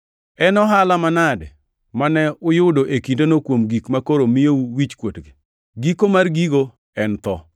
En ohala manade mane uyudo e kindeno kuom gik makoro miyou wichkuotgi? Giko mar gigo en tho!